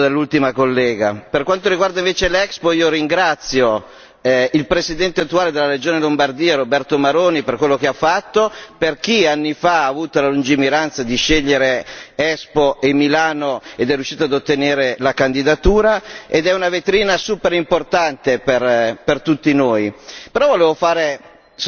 Per quanto riguarda invece l'Expo, ringrazio il Presidente attuale della Regione Lombardia Roberto Maroni per quello che ha fatto per chi anni fa ha avuto la lungimiranza di scegliere Expo e Milano ed è riuscito ad ottenere la candidatura ed è una vetrina molto importante per tutti noi. Però volevo fare sostanzialmente una domanda